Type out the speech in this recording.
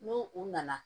N'u u nana